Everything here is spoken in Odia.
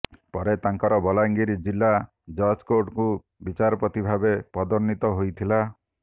ପରେ ତାଙ୍କର ବଲାଙ୍ଗୀର ଜିଲ୍ଲା ଜଜ୍ େକାର୍ଟକୁ ବିଚାରପତି ଭାବେ ପଦୋନ୍ନତି ହୋଇଥିଲା